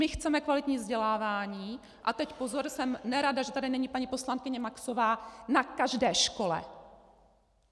My chceme kvalitní vzdělávání, a teď pozor - jsem nerada, že tady není paní poslankyně Maxová - na každé škole.